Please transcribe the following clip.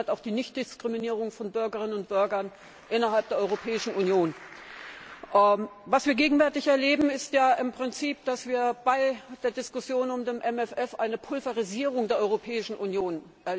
Dazu gehört auch die Nichtdiskriminierung von Bürgerinnen und Bürgern innerhalb der Europäischen Union. Gegenwärtig erleben wir im Prinzip bei der Diskussion um den MFR eine Pulverisierung der Europäischen Union.